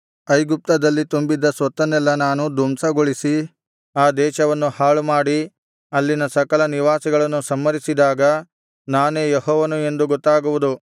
ಐಗುಪ್ತದಲ್ಲಿ ತುಂಬಿದ್ದ ಸೊತ್ತನ್ನೆಲ್ಲಾ ನಾನು ಧ್ವಂಸಗೊಳಿಸಿ ಆ ದೇಶವನ್ನು ಹಾಳುಮಾಡಿ ಅಲ್ಲಿನ ಸಕಲ ನಿವಾಸಿಗಳನ್ನು ಸಂಹರಿಸಿದಾಗ ನಾನೇ ಯೆಹೋವನು ಎಂದು ಗೊತ್ತಾಗುವುದು